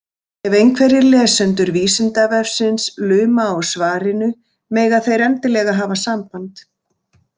Ef einhverjir lesendur Vísindavefsins luma á svarinu, mega þeir endilega hafa samband!